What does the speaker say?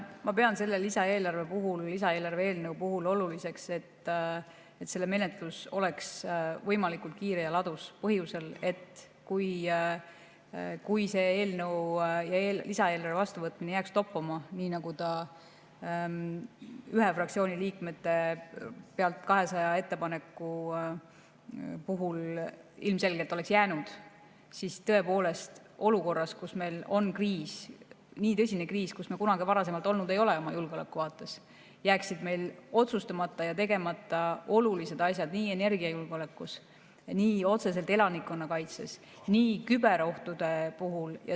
Ma pean selle lisaeelarve eelnõu puhul oluliseks, et selle menetlus oleks võimalikult kiire ja ladus, sel põhjusel, et kui selle eelnõu ja lisaeelarve vastuvõtmine jääks toppama, nii nagu ta ühe fraktsiooni liikmete pealt 200 ettepaneku tõttu ilmselgelt oleks jäänud, siis tõepoolest olukorras, kus meil on kriis, nii tõsine kriis, nii nagu meil kunagi varasemalt ei ole olnud julgeoleku vaates, jääksid meil otsustamata ja tegemata olulised asjad nii energiajulgeolekus, nii otseselt elanikkonnakaitses kui ka küberohtude puhul.